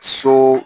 So